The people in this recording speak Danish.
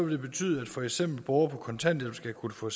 det betyde at for eksempel borgere på kontanthjælp skal kunne få